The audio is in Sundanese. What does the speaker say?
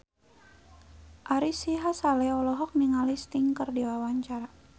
Ari Sihasale olohok ningali Sting keur diwawancara